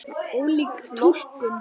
Ólík túlkun.